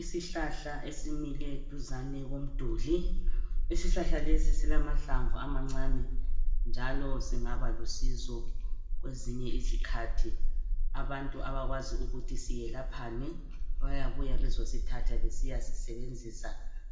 Isihlahla esimile duzane komduli. Isihlahla lesi silamahlamvu amancane njalo singaba lusizo kwezinye izikhathi. Abantu abakwazi ukuthi siyelaphani, bayabuya bezosithatha besiya sisebenzisa